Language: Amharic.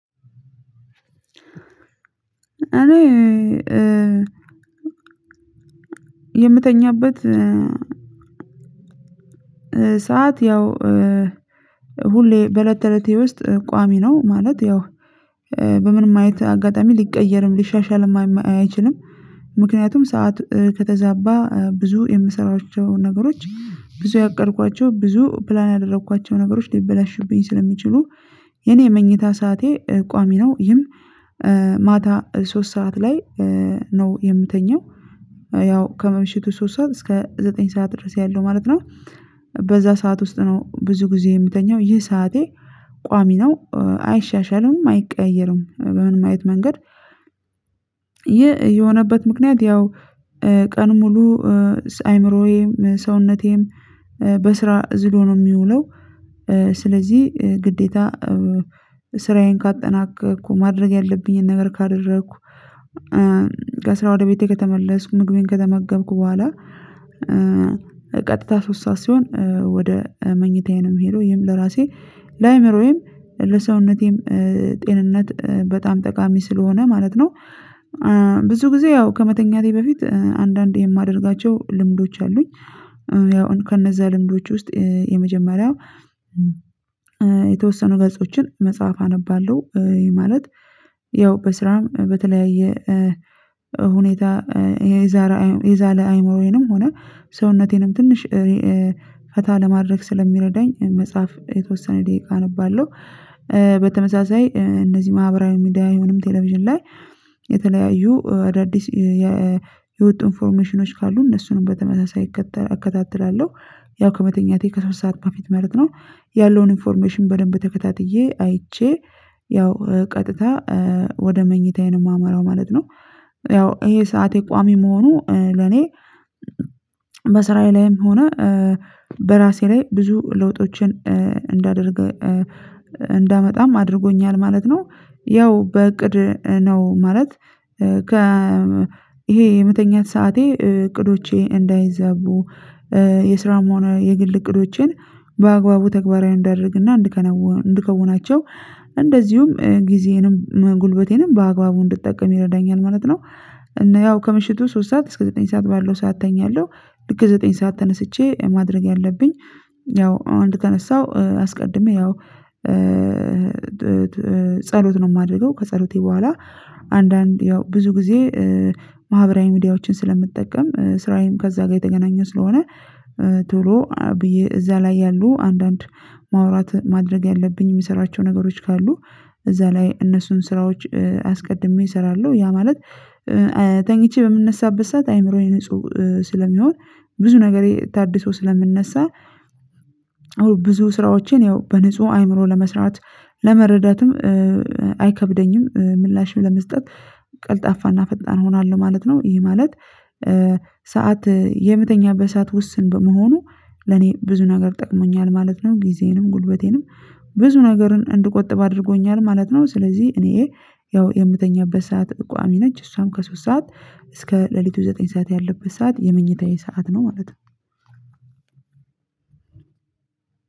እኔ የምተኛበት ሰዓት ያው ሁሌ በእለት ተእለቴ ውስጥ ቋሚ ነው ማለት ያው በምንም አይነት አጋጣሚ ሊቀየርም ሊሻሻልም አይችልም። ምክንያቱም ሰዓት ከተዛባ ብዙ የምሰራቸው ነገሮች ብዙ ያቀድኳቸው ብዙ ፕላን ያደረኳቸው ነገሮች ሊበላሹብኝ ስለሚችሉ የኔ የመኝታ ሰዓቴ ቋሚ ነው። ይህም ማታ ሶስት ሰዓት ላይ ነው የምተኛው ያው ከመምሸቱ ሶስት ሰዓት እስከ ዘጠኝ ሰዓት ድረስ ያለው ማለት ነው። በዛ ሰዓት ውስጥ ነው ብዙ ጊዜ የምተኛው ይህ ሰዓቴ ቋሚ ነው አይሻሻልም አይቀያየርም በምንም አይነት መንገድ። ይህ የሆነበት ምክንያት ያው ቀኑን ሙሉ አይምሮዬም ሰውነቴም በስራ ዝሎ ነው የሚውለው። ስለዚህ ግዴታ ስራዬን ካጠናከርኩ ማድረግ ያለብኝን ነገር ካደረኩ ከስራ ወደ ቤቴ ከተመለስኩ ምግቤን ከተመገብኩ በኋላ ቀጥታ ሶስት ሰዓት ሲሆን ወደ መኝታዬ ነው ምሄደው ይሄም ለራሴ ለአእምሮዬም ለሰውነቴም ጤንነት በጣም ጠቃሚ ስለሆነ ማለት ነው። ብዙ ጊዜ ያው ከመተኛቴ በፊት አንዳንድ የማደርጋቸው ልምዶች አሉኝ ያው ከነዛ ልምዶች ውስጥ የመጀመሪያው የተወሰኑ ገጾችን መጽሐፍ አነባለሁ ማለት ያው በስራም በተለያየ ሁኔታ የዛለ አይምሮዬንም ሆነ ሰውነቴንም ትንሽ ፈታ ለማድረግ ስለሚረዳኝ መጽሐፍ የተወሰነ ደቂቃ አነባለሁ። በተመሳሳይ እነዚህ ማህበራዊ ሚዲያ ወይንም ቴሌቪዥን ላይ የተለያዩ አዳዲስ የወጡ ኢንፎርሜሽኖች ካሉ እነሱንም በተመሳሳይ እከታተላለሁ። ያው ከመተኛቴ ከሶስት ሰዓት በፊት ማለት ነው ያለውን ኢንፎርሜሽን በደንብ ተከታትዬ አይቼ ያው ቀጥታ ወደ መኝታዬ ነው የማመራው ማለት ነው። ያው ይሄ ሰዓቴ ቋሚ መሆኑ ለኔ በስራዬ ላይም ሆነ በራሴ ላይ ብዙ ለውጦችን እንዳደርግ እንዳመጣም አድርጎኛል ማለት ነው። ያው በእቅድ ነው ማለት ከ ይሄ የመተኛት ሰዓቴ እቅዶቼ እንዳይዛቡ የስራም ሆነ የግል እቅዶቼን በአግባቡ ተግባራዊ እንዳደርግ እና እንድከናውን እንድከውናቸው እንደዚሁም ጊዜዬንም ጉልበቴንም በአግባቡ እንድጠቀም ይረዳኛል ማለት ነው። እና ያው ከምሽቱ ሶስት ሰዓት እስከ ዘጠኝ ሰዓት ባለው ሰዓት ተኛለሁ። ልክ ዘጠኝ ሰዓት ተነስቼ ማድረግ ያለብኝ ያው አሁን እንደተነሳሁ አስቀድሜ ያው ጸሎት ነው የማደርገው ከጸሎቴ በኋላ አንዳንድ ያው ብዙ ጊዜ ማህበራዊ ሚዲያዎችን ስለምጠቀም ስራዬም ከዛ ጋር የተገናኘ ስለሆነ ቶሎ ብዬ እዛ ላይ ያሉ አንዳንድ ማውራት ማድረግ ያለብኝ የምሰራቸው ነገሮች ካሉ እዛ ላይ እነሱን ስራዎች አስቀድሜ እሰራለሁ ያ ማለት ተኝቼ በምነሳበት ሰዓት አይምሮዬ ንጹህ ስለሚሆን ብዙ ነገሬ ታድሶ ስለምንነሳ ብዙ ስራዎችን ያው በንጹህ አይምሮ ለመስራት ለመረዳትም አይከብደኝም ምላሽም ለመስጠት ቀልጣፋ እና ፈጣን እሆናለው ማለት ነው። ይሄ ማለት የምተኛበት ሰዓት ውስን በመሆኑ ለኔ ብዙ ነገር ጠቅሞኛል ማለት ነው ጊዜዬንም ጉልበቴንም ብዙ ነገርን እንድቆጥብ አድርጎኛል ማለት ነው። ስለዚህ እኔ ያው የምተኛበት ሰዓት ቋሚ ነች እሷም ከሶስት ሰዓት እስከ ሌሊቱ ዘጠኝ ሰዓት ያለበት ሰዓት የመኝታዬ ሰዓት ነው ማለት ነው።